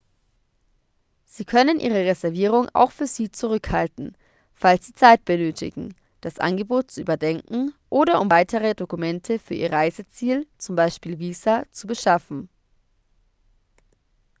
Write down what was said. sie können ihre reservierung auch für sie zurückhalten falls sie zeit benötigen das angebot zu überdenken oder um weitere dokumente für ihr reiseziel z.b. visa zu beschaffen